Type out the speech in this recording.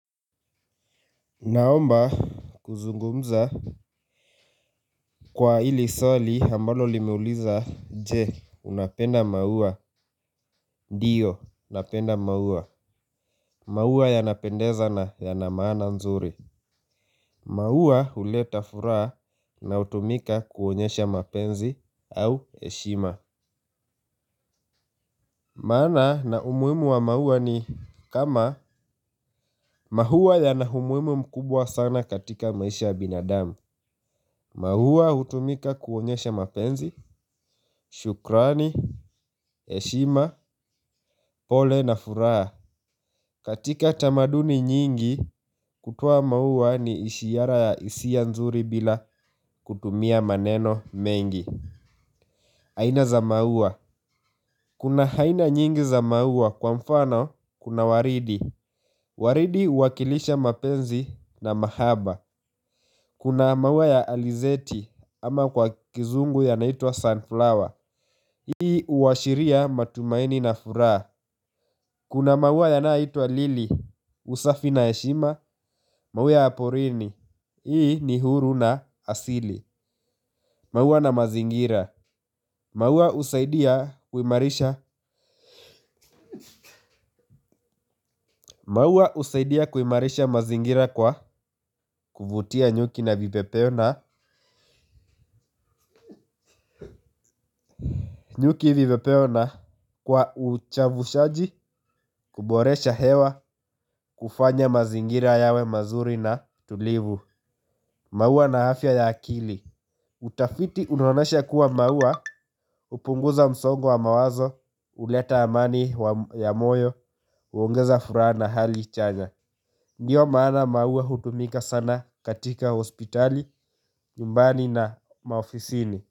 Naomba kuzungumza kwa hili swali ambalo limeuliza je unapenda maua, diyo napenda maua, maua yanapendeza na yana maana nzuri. Maua huleta furaha na hutumika kuonyesha mapenzi au heshima. Maana na umuhimu wa maua ni kama maua yana humuhimu mkubwa sana katika maisha ya binadamu. Mauwa hutumika kuonyesha mapenzi, shukrani, heshima, pole na furaha. Katika tamaduni nyingi, kutoa mauwa ni ishiara ya hisia nzuri bila kutumia maneno mengi. Haina za mauwa. Kuna haina nyingi za mauwa kwa mfano, kuna waridi. Waridi uwakilisha mapenzi na mahaba. Kuna mauwa ya alizeti ama kwa kizungu ya naitwa sunflower. Hii uwashiria matumaini na furaha. Kuna maua yanaitwa Lili, Usafi na heshima, maua ya porini. Hii ni huru na asili. Maua na mazingira maua husaidia kuimarisha usaidia kuimarisha mazingira kwa kuvutia nyuki na vivepeo na nyuki vivepeo na kwa uchavushaji kuboresha hewa kufanya mazingira yawe mazuri na tulivu. Mauwa na afya ya akili utafiti unaonesha kuwa mauwa hupunguza msongo wa mawazo. Uleta amani ya moyo. Uongeza furaha na hali chanya. Ndiyo maana mauwa hutumika sana katika hospitali. Jumbani na mao fisini.